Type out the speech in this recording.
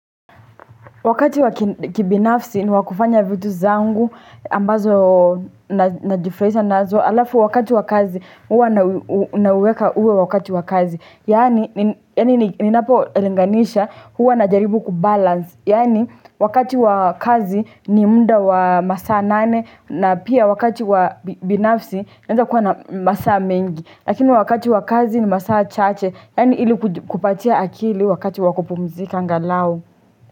Wakati wa kibinafsi ni wa kufanya vitu zangu ambazo najifurahisha nazo, alafu wakati wa kazi huwa nauweka uwe wakati wa kazi Yaani ninapo linganisha huwa najaribu kubalance. Yaani wakati wa kazi ni muda wa masaa nane na pia wakati wa binafsi naeza kuwa na masaa mengi. Lakini wakati wa kazi ni masaa chache, yaani ili kupatia akili wakati wa kupumzika angalau.